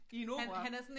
I en opera?